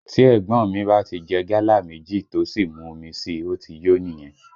Tí ẹ̀gbọ́n ọ́n mi bá tí jẹ gálà méjì tó sì mú omi síi, ó ti yó nìyẹn